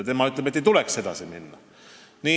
Tema ütleb, et ei tuleks edasi minna.